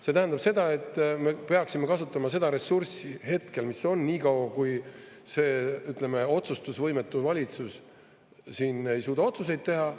See tähendab seda, et me peaksime kasutama seda ressurssi hetkel, mis on, nii kaua, kui see, ütleme, otsustusvõimetu valitsus siin ei suuda otsuseid teha.